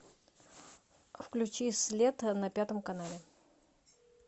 включи след на пятом канале